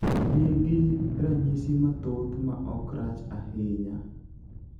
niki ranyisi mathoth ma ok rach ahinya